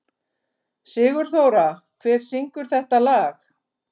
Sigurþóra, hver syngur þetta lag?